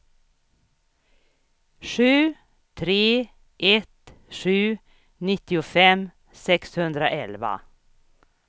sju tre ett sju nittiofem sexhundraelva